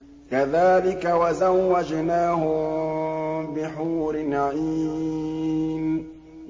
كَذَٰلِكَ وَزَوَّجْنَاهُم بِحُورٍ عِينٍ